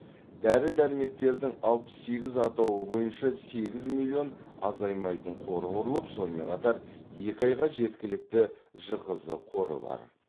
дәрі дәрмектердің алпыс сегіз атауы бойынша сегіз миллион азаймайтын қоры құрылып сонымен қатар екі айға жеткілікті жқз қоры бар